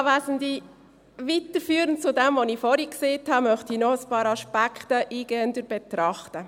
Weiterführend zu dem, was ich vorhin gesagt habe, möchte ich noch ein paar Aspekte eingehender betrachten.